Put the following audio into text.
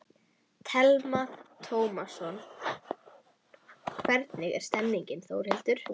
Telma Tómasson: Hvernig er stemningin Þórhildur?